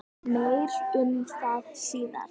Meir um það síðar.